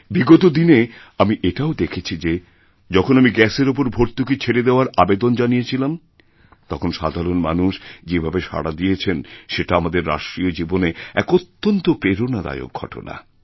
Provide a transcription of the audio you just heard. বিগত দিনেআমি এটাও দেখেছি যে যখন আমি গ্যাসের ওপর ভর্তুকি ছেড়ে দেওয়ার আবেদন জানিয়েছিলামতখন সাধারণ মানুষ যে ভাবে সাড়া দিয়েছেন সেটা আমাদের রাষ্ট্রীয় জীবনে এক অত্যন্তপ্রেরণাদায়ক ঘটনা